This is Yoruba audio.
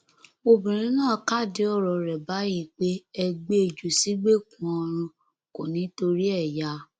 obìnrin náà kádìí ọrọ rẹ báyìí pé ẹ gbé e jù sígbèkùn ọrun kò ní í torí ẹ yá